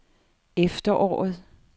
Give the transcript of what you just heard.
efteråret